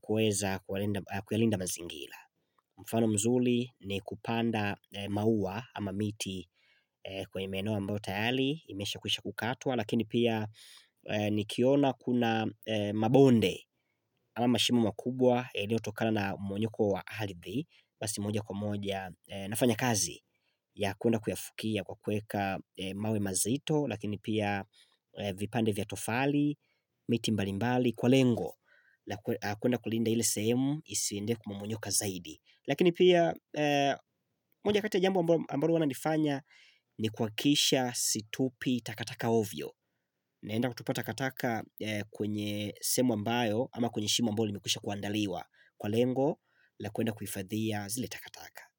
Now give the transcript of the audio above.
kuweza kuwalinda kuyalinda mazingila. Mfano mzuli ni kupanda maua ama miti kwenye maeneo ambayo tayali imesha kuhisha kukatwa lakini pia nikiona kuna mabonde ama mashimo makubwa iliotokana na mmonyoko wa ardhi. Basi moja kwa moja nafanya kazi ya kuenda kuyafukia kwa kueka mawe mazito lakini pia vipande vya tofali, miti mbali mbali kwa lengo Lakini pia kuenda kulinda ile sehemu isiinde kumumunyoka zaidi lakini pia moja kati ya jambo amba ambaro wana nifanya ni kuhakisha situpi takataka ovyo naenda kutupata takataka kwenye sehemu ambayo ama kwenye shimo ambayo limekwisha kuandaliwa kwa lengo, la kwenda kuhifadhia zile takataka.